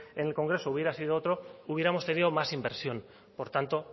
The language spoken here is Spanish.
en el congreso hubiera sido otra hubiéramos tenido más inversión por tanto